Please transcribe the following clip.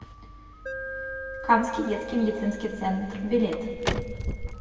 камский детский медицинский центр билет